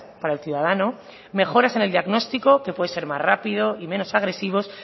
para el ciudadano mejoras en el diagnóstico que puede ser más rápido y menos agresivos